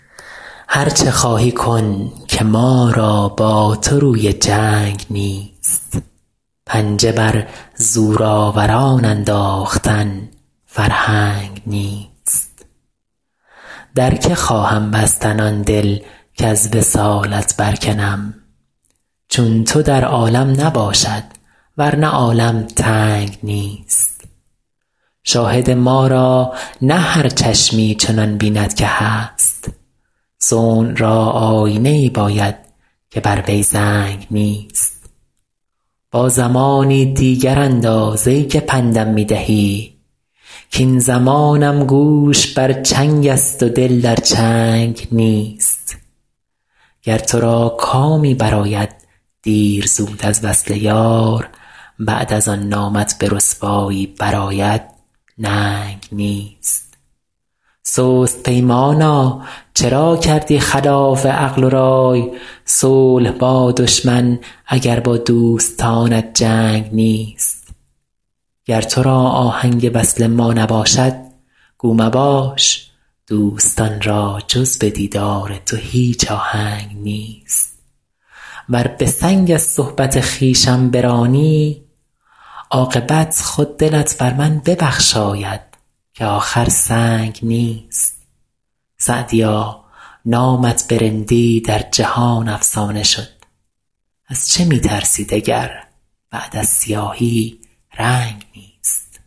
هر چه خواهی کن که ما را با تو روی جنگ نیست پنجه بر زورآوران انداختن فرهنگ نیست در که خواهم بستن آن دل کز وصالت برکنم چون تو در عالم نباشد ور نه عالم تنگ نیست شاهد ما را نه هر چشمی چنان بیند که هست صنع را آیینه ای باید که بر وی زنگ نیست با زمانی دیگر انداز ای که پند م می دهی کاین زمانم گوش بر چنگ است و دل در چنگ نیست گر تو را کامی برآید دیر زود از وصل یار بعد از آن نامت به رسوایی برآید ننگ نیست سست پیمانا چرا کردی خلاف عقل و رای صلح با دشمن اگر با دوستانت جنگ نیست گر تو را آهنگ وصل ما نباشد گو مباش دوستان را جز به دیدار تو هیچ آهنگ نیست ور به سنگ از صحبت خویشم برانی عاقبت خود دلت بر من ببخشاید که آخر سنگ نیست سعدیا نامت به رندی در جهان افسانه شد از چه می ترسی دگر بعد از سیاهی رنگ نیست